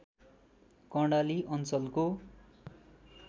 कर्णाली अञ्चलको